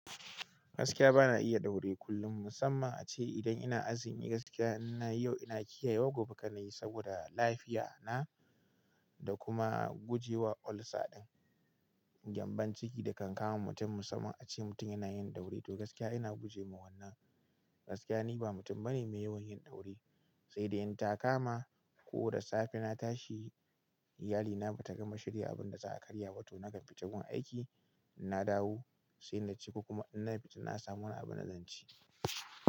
Gaskiya bana iya daure kullum. Musamman ace idan ina azumi gaskiya inayi yau in kiyayewa gobe kanayi saboda lafiya na da kuma guje wa ulcer din, gyambon ciki da kan kama mutum. Musamman ace mutum yana yin daure to gaskiya ina guje ma wannan. Gaskiya ni ba mutum bane mai yawan yin daure, sai da in taka ma ko da safe na tashi iyalina bata gama shirya abun da za a karya ba to nakan fita gun aiki, inna dawo sai naci kokuma in na fita na samu wani abunda zan ci.